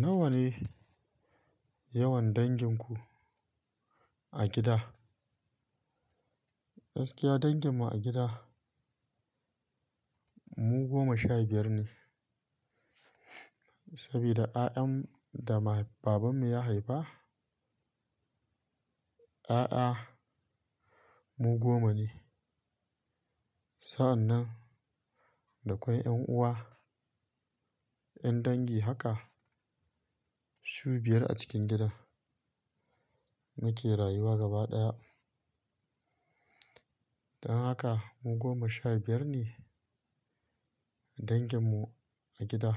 Nawa ne, yawan danginku, a gida? Gaskiya danginmu a gida, mu goma shaibiyar ne. Sabida ƴaƴan da babanmu ya haifa, ƴaƴa mu goma ne. Sa'annan da kwai ƴan uwa, ƴan dangi haka su biyar a cikin gidan, muke rayuwa gaba ɗaya. Dan haka mu goma shabiyar ne, danginmu a gida.